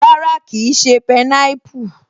Rárá, kìí ṣé pineapple